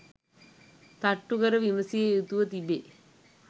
තට්ටු කර විමසිය යුතුව තිබේ